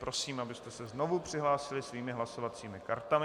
Prosím, abyste se znovu přihlásili svými hlasovacími kartami.